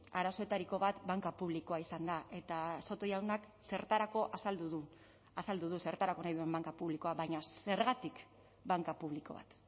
arazoetariko bat banka publikoa izan da eta soto jaunak zertarako azaldu du azaldu du zertarako nahi duen banka publikoa baina zergatik banka publiko bat